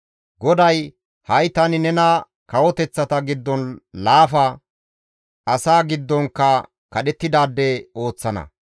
GODAY, «Ha7i tani nena kawoteththata giddon laafa; asaa giddonkka kadhettidaade ooththana.